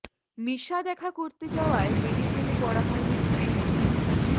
মিশা দেখা করতে যাওয়ায় মেডিকেলে পড়া হয়নি স্ত্রী মিতার